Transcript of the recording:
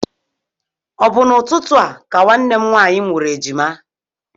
Ọ bụ n'ụtụtụ a ka nwanne m nwaanyị mụrụ ejima?